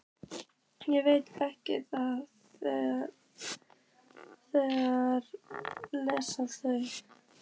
Ég veit að þeir lesa þau.